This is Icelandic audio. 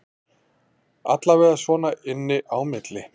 Allavega svona inni á milli